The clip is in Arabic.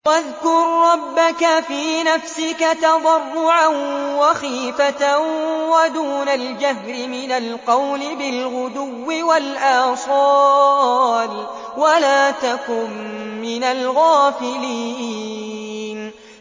وَاذْكُر رَّبَّكَ فِي نَفْسِكَ تَضَرُّعًا وَخِيفَةً وَدُونَ الْجَهْرِ مِنَ الْقَوْلِ بِالْغُدُوِّ وَالْآصَالِ وَلَا تَكُن مِّنَ الْغَافِلِينَ